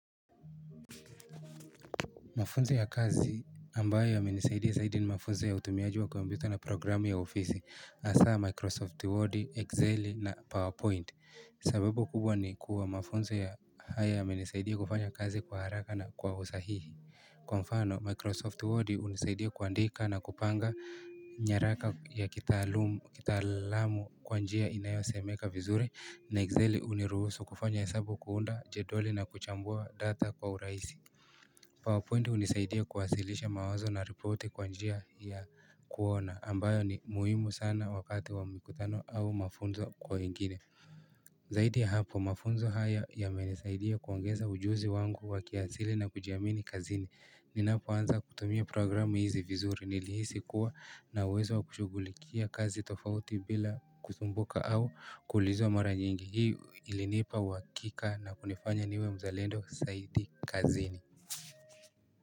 Mafunzo ya kazi ambayo ya menisaidia zaidi ni mafunzo ya utumiaji wa kompyuta na programu ya ofisi hasa Microsoft Word, Excel na PowerPoint. Sababu kubwa ni kuwa mafunzo ya haya ya menisaidia kufanya kazi kwa haraka na kwa usahihi. Kwa mfano, Microsoft Word unisaidia kuandika na kupanga nyaraka ya kitaalamu kwa njia inayosemeka vizuri na Excel uniruhusu kufanya hesabu kuunda jedwali na kuchambua data kwa urahisi. PowerPoint unisaidia kuwasilisha mawazo na ripoti kwa njia ya kuona ambayo ni muhimu sana wakati wa mikutano au mafunzo kwa wengine Zaidi hapo mafunzo haya ya menisaidia kuongeza ujuzi wangu wa kiasili na kujiamini kazini Ninapo anza kutumia programu hizi vizuri nilihisi kuwa na uwezo wa kushughulikia kazi tofauti bila kusumbuka au kuulizwa mara nyingi hii ilinipa uhakika na kunifanya niwe mzalendo saidi kazini.